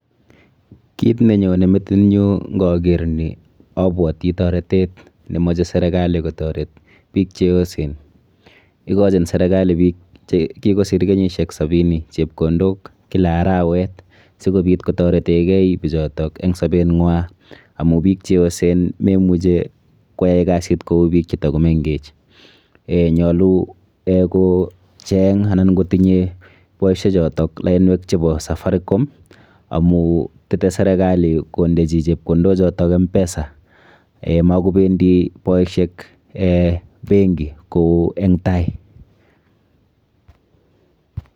Kit nenyone metinyu nkaker ni abwati taretet nemoche serikali kotoret biik cheyosen. Ikochin serikali biik chekikosir kenyishek sabini chepkondok kila arawet sikobit kotoreteke bichoto eng sabenwa amu biik cheyosen memuchi koyai boisiet kou biik chetakomenkech. Eh nyolu eh kocheng anan kotinye boishechoto lainwek chepo Safaricom, amu tetei serikali kondechi chepkondochoto M-PESA. Makopendi boishek eh [cs[benki kou eng tai.